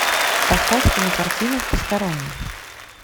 поставь кинокартину посторонний